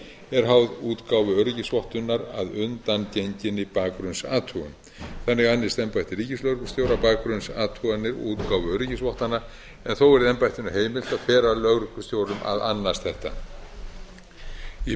er háð útgáfu öryggisvottunar að undangenginni bakgrunnsathugun þannig annist embætti ríkislögreglustjóra bakgrunnsathugunar og útgáfu öryggisvottana en þó er embættinu heimilt að fela lögreglustjórum að annast þetta í